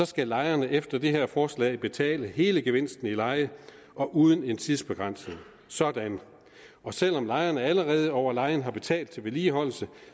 skal lejerne efter det her forslag betale hele gevinsten i leje og uden en tidsbegrænsning sådan og selv om lejerne allerede over lejen har betalt til vedligeholdelse